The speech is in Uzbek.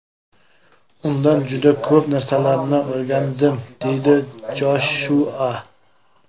Undan juda ko‘p narsalarni o‘rgandim”, deydi Joshua.